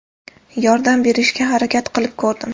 Yordam berishga harakat qilib ko‘rdim.